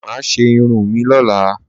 Máà ṣe irun mí lọ́la.